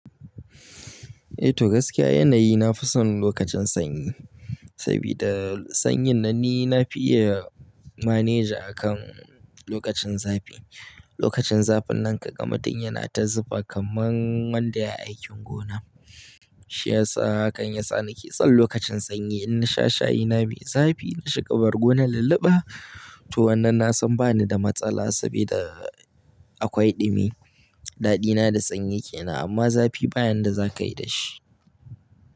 Eh to gaskiya yanayi na fi son lokacin sanyi, sabida sanyin na ni na fi iya maneji akan lokacin zafi. Lokacin zafin nan ka ga mutum yana ta zufa kaman wanda yayi aikin gona. Shi yasa hakan yasa na ke son lokacin sanyi. In na sha shayina mai zafi na shiga bargona lulluɓa to wannan na san ba ni da matsala sabida akwai ɗumi. Daɗina da sanyi kenan amma zafi ba yanda za ka yi da shi.